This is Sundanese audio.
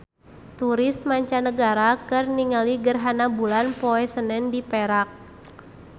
Turis mancanagara keur ningali gerhana bulan poe Senen di Perak